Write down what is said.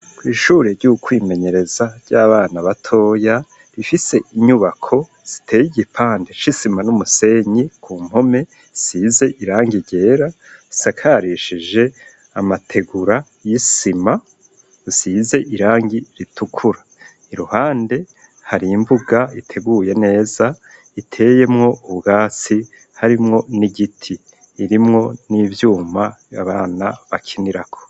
Kw'ishure ry'ukwimenyereza ry'abana batoya rifise inyubako ziteye igipande c'isima n'umusenyi, ku mpome isize irangi ryera, isakarishije amategura y'isima isize irangi ritukura, iruhande hari imbuga iteguye neza iteyemwo ubwatsi harimwo n'igiti, irimwo n'ivyuma abana bakinirako.